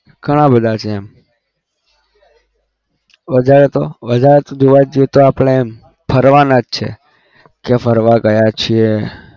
ઘણા બધા છે એમ વધારે તો વધારે તો જોવા જઈએ તો આપણે એમ ફરવાના જ છે કે ફરવા ગયા છીએ.